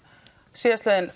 síðastliðinn